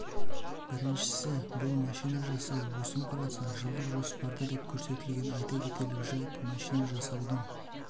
біріншісі бұл машина жасау өсім құраса жылдық жоспарда деп көрсетілген айта кетерлік жайт машина жасаудың